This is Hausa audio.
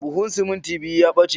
Buhun simintin biyu ya ɓace